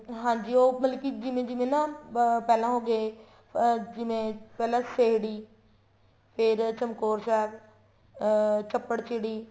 ਹਾਂਜੀ ਉਹ ਮਤਲਬ ਕੀ ਜਿਵੇਂ ਜਿਵੇਂ ਨਾ ਅਹ ਪਹਿਲਾ ਹੋਗੇ ਅਹ ਜਿਵੇਂ ਪਹਿਲਾਂ ਫ਼ੇਰ ਚਮਕੋਰ ਸਾਹਿਬ ਅਹ ਚੱਪੜ ਚਿੜੀ